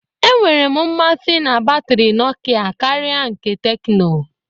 Enwere m mmasị na batrị Nokia karịa nke Tecno.